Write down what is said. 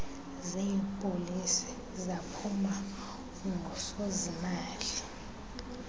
zeepolisi zaphuma ungusozimali